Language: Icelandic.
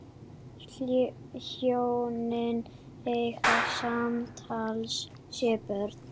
Hjónin eiga samtals sjö börn.